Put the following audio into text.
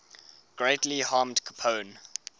greatly harmed capone